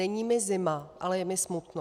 Není mi zima, ale je mi smutno.